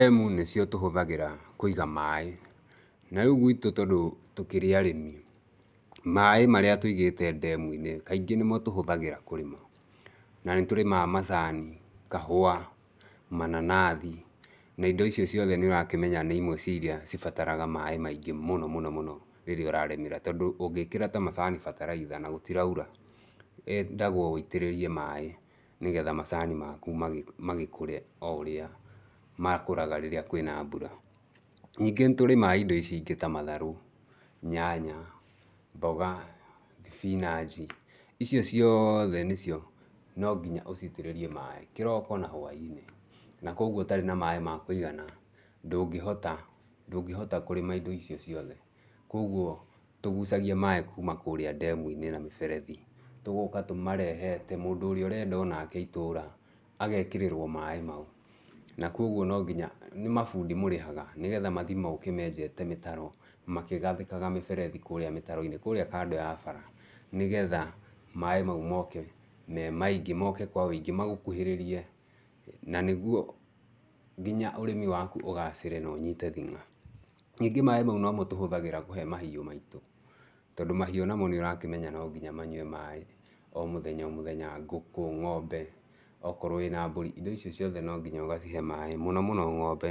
Ndemu nĩcio tũhũthagĩra kũiga maĩ, na rĩu gwitũ tondũ tũkĩrĩ arĩmi, maĩ marĩa tũigĩte ndemu-inĩ, kaingĩ nĩmo tũhũthagĩra kũrĩma, na nĩ tũrĩmaga macani, kahũa, mananathi, na indo icio ciothe nĩ ũrakĩmenya nĩ imwe cia indo iria cibataraga maĩ maingĩ mũno mũno rĩrĩa ũrarĩmĩra tondũ ũngĩkĩra ta macani bataraitha na gũtiraura, yendagwo ũitĩrĩrie maĩ, nĩgetha macani maku magĩkũre o ũrĩa makũraga rĩrĩa kwĩna mbura. Ningĩ nĩ tũrĩmaga indo ici ingĩ ta matharũ, nyanya, mboga, thibinanji, icio ciothe nacio nonginya ũciitĩrĩrie maĩ, kĩroko na hwai-inĩ. na kũguo ũtarĩ na maĩ ma kũigana ndũngĩhota kũrĩma indo icio ciothe. Kũguo tũgucaia maĩ kũma kũrĩa ndemu-inĩ na mĩberethi, tũgoka tũmarehete, mũndũ ũrĩa ũrenda o nake itũra, agekĩrĩrwo maĩ mau, na kũguo no nginya, nĩ mabundi mũrĩhaga nĩgetha mathiĩ moke menjete mĩtaro makĩgathĩkaga mĩberethi kũrĩa mĩtaro-inĩ kũrĩa kando ya bara nĩgetha maĩ mau moke me maingĩ, moke me maingĩ nĩgetha magũkuhĩrĩrie na nĩguo nginya ũrĩmi waku ũgacĩre na ũnyite thĩ'nga. Ningĩ maĩ macio nomo tũhũthagĩra kũhe mahiũ maitũ, tondũ mahiũ namo nĩ ũrakĩmenya nonginya manyue maĩ o mũthenya o mũthenya, ngũkũ, ng'ombe okorwo wĩna mbũri, indo icio ciothe no nginya ũgacihe maĩ mũno mũno ng'ombe